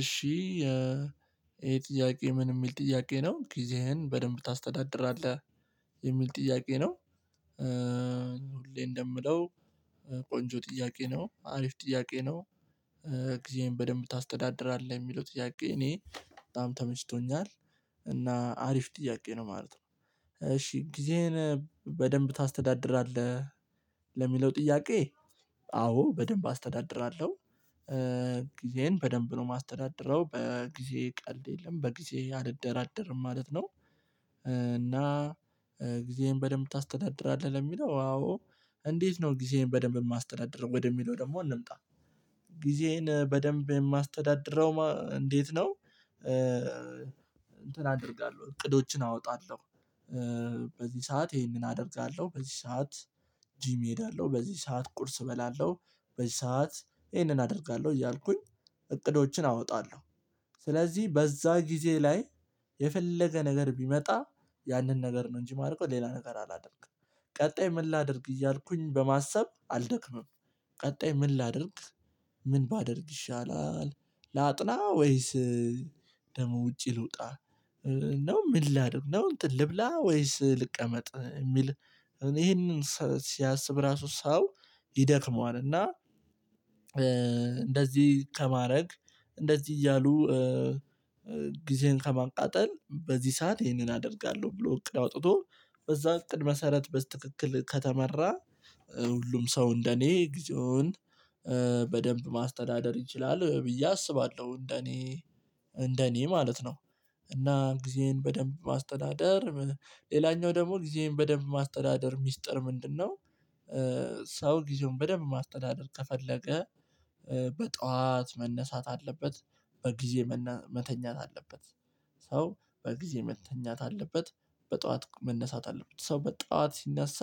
እሺ ይሄ የጥያቄ ምን የሚል ጥያቄ ነው ጊዜህን በደንብ ታስተዳድራለህ? የሚል ጥያቄ ነው ሁሌ እንደምለው ቆንጆ ጥያቄ ነው አሪፍ ጥያቄ ነው ጊዜህን በደንብ ታስተዳድራለህ? የሚለው ጥያቄ እኔ በጣም ተመችቶኛል እና አሪፍ ጥያቄ ነው ማለት ነው እሺ ጊዜህን በደንብ ታስተዳድራለህ? ለሚለው ጥያቄ አዎ በደንብ አስተዳድራለሁ ጊዜየን በደንብ ነው የማስተዳድረው በጊዜ ቀልድ የለም በጊዜ አልደራደርም ማለት ነው እና ጊዜዬን በደንብ ታስተዳድራለህ? ለሚለው አዎ እንዴት ነው ጊዜዬን በደንብ የማስተዳድረው ወደሚለው ደግሞ እንምጣ ጊዜየን በደንብ የማስተዳድረው እንዴት ነው እንትን አደርጋለሁ እቅዶችን አወጣለሁ በዚህ ሰዓት ይሄን ይሄንን አደርጋለሁ በዚህ ሰዓት ጂም እሄዳለሁ በዚህ ሰዓት ቁርስ እበላለሁ በዚህ ሰዓት ይሄንን አደርጋለሁ እያልኩኝ እቅዶችን አወጣለሁ ስለዚህ በዛ ጊዜ ላይ የፈለገ ነገር ቢመጣ ያንን ነገር ነው እንጂ ማለት ነው ሌላ ነገር አላደርግም ቀጣይ ምን ላድርግ እያልኩኝ በማሰብ አልደክምም ቀጣይ ምን ላድርግ ምን ባደርግ ይሻላል ላጥና ወይስ ደግሞ ውጪ ልውጣ ነው ምን ላድርግ ነው እንትን ልብላ ወይስ ልቀመጥ የሚል እኔ ይሄንን ሲያስብ ራሱ ሰው ይደክመዋል እና እንደዚህ ከማድረግ እንደዚህ እያሉ ጊዜን ከማቃጠል በዚህ ሰዓት ይሄንን አደርጋለሁ ብሎ እቅድ አውጥቶ በዛ እቅድ መሰረት በስትክክል ከተመራ ሁሉም ሰው እንደኔ ጊዜውን በደንብ ማስተዳደር ይችላል ብዬ አስባለሁ እንደኔ እንደኔ ማለት ነው እና ጊዜን በደንብ ማስተዳደር ሌላኛው ደግሞ ጊዜዬን በደንብ ማስተዳደር ሚስጥር ምንድነው ሰው ጊዜውን በደንብ ማስተዳደር ከፈለገ በጧት መነሳት አለበት በጊዜ መተኛት አለበት ሰው በጊዜ መተኛት አለበት በጧት መነሳት አለበት ሰው በጧት ሲነሳ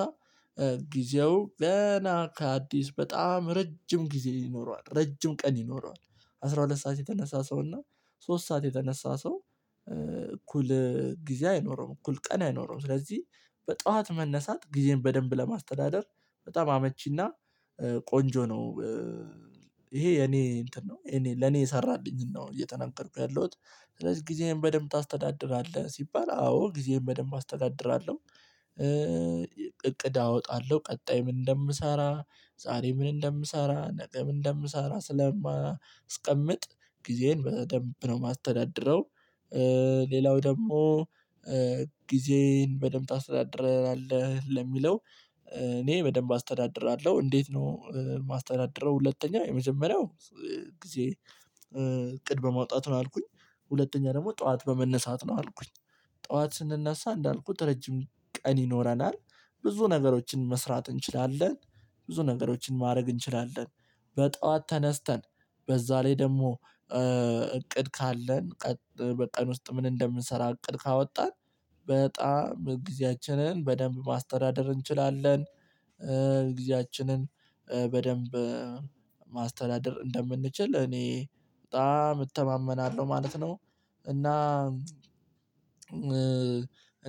ጊዜው ገና ከአዲስ በጣም ረጅም ጊዜ ይኖረዋል ረጅም ቀን ይኖረዋል አስራ ሁለት ሰዓት የተነሳ ሰው እና ሶስት ሰዓት የተነሳ ሰው እኩል ጊዜ አይኖረውም እኩል ቀን አይኖረውም ስለዚህ በጧት መነሳት ጊዜን በደንብ ለማስተዳደር በጣም አመቺና ቆንጆ ነው ይሄ የኔ እንትን ነው የኔ ለኔ የሰራልኝን ነው እየተናገርኩ ያለሁት ስለዚህ ጊዜህን በደንብ ታስተዳድራለህ? ሲባል አዎ ጊዜየን በደንብ አስተዳድራለሁ እቅድ አወጣለሁ ቀጣይ ምን እንደምሰራ ዛሬ ምን እንደምሰራ ነገ ምን እንደምሰራ ስለማስቀምጥ ጊዜን በደንብ ነው የማስተዳድረው ሌላው ደግሞ ጊዜን በደንብ ታስተዳድራለህ? ለሚለው እኔ በደንብ አስተዳድራለሁ እንዴት ነው የማስተዳድረው ሁለተኛው የመጀመሪያው ጊዜ እቅድ በማውጣት ነው አልኩኝ ሁለተኛ ደግሞ ጠዋት በመነሳት ነው አልኩኝ ጠዋት ስንነሳ እንዳልኩት ረጅም ቀን ይኖረናል ብዙ ነገሮችን መስራት እንችላለን ብዙ ነገሮችን ማድረግ እንችላለን በጧት ተነስተን በዛ ላይ ደግሞ እቅድ ካለን ቀን በቀን ውስጥ ምን እንደምንሰራ እቅድ ካወጣን በጣም ግዜአችንን በደንብ ማስተዳደር እንችላለን እግዚአችንን በደንብ ማስተዳደር እንደምንችል እኔ በጣም እተማመናለሁ ማለት ነው እና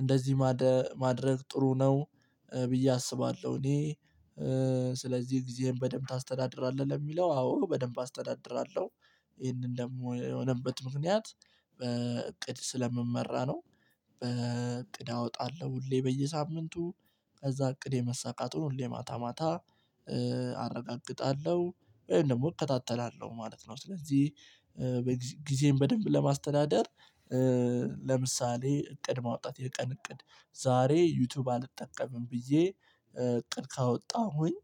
እንደዚህ ማድረግ ጥሩ ነው ብዬ አስባለሁ እኔ ስለዚህ ጊዜህን በደንብ ታስተዳድራለህ? ለሚለው አዎ በደንብ አስተዳድራለሁ ይሄንን ደግሞ የሆነበት ምክንያት በእቅድ ስለምመራ ነው በእቅድ አወጣለሁ ሁሌ በየሳምንቱ ከዛ እቅድ የመሰካቱን ሁሌ ማታ ማታ አረጋግጣለሁ ወይም ደግሞ እከታተላለሁ ማለት ነው ስለዚህ ጊዜን በደንብ ለማስተዳደር ለምሳሌ እቅድ ማውጣት የቀን እቅድ ዛሬ ዩቲዩብ አልጠቀምም ብዬ እቅድ ካወጣሁኝ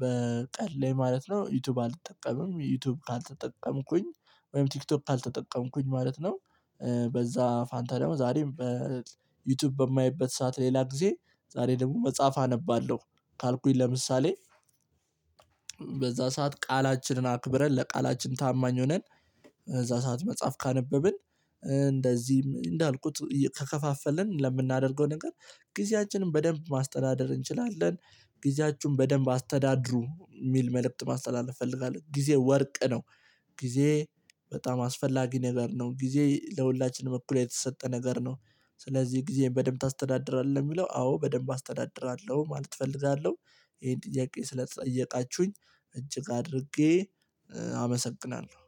በቅድ ላይ ማለት ነው ዩቲዩብ አልጠቀምም ዩቲዩብ ካልተጠቀምኩኝ ወይም ቲክቶክ ካልተጠቀምኩኝ ማለት ነው በዛ ፋንታ ደግሞ ዛሬም በዩቲዩብ በማይበት ሰዓት ሌላ ጊዜ ዛሬ ደግሞ መጽሐፍ አነባለሁ ካልኩኝ ለምሳሌ በዛ ሰዓት ቃላችንን አክብረን ለቃላችን ታማኝ ሆነን እዛ ሰዓት መጽሐፍ ካነበብን እንደዚህም እንዳልኩት ከከፋፈልን ለምናደርገው ነገር ጊዜያችንን በደንብ ማስተዳደር እንችላለን ጊዜያችሁን በደንብ አስተዳድሩ የሚል መልእክት ማስተላለፍ እፈልጋለሁ ጊዜ ወርቅ ነው ጊዜ በጣም አስፈላጊ ነገር ነው ጊዜ ለሁላችንም እኩል የተሰጠ ነገር ነው ስለዚህ ጊዜህን በደንብ ታስተዳድራለህ? የሚለው አዎ በደንብ አስተዳድራለሁ ማለት እፈልጋለሁ ይሄን ጥያቄ ስለጠየቃችሁኝ እጅግ አድርጌ አመሰግናለሁ